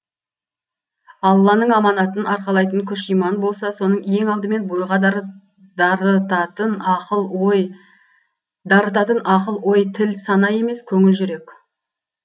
алланың аманатын арқалайтын күш иман болса соны ең алдымен бойға дарытатын ақыл ой тіл сана емес көңіл жүрек